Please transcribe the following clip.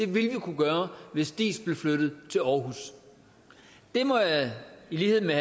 vi kunne gøre hvis diis blev flyttet til aarhus jeg må i lighed med